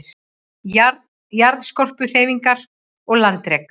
Jarðskorpuhreyfingar og landrek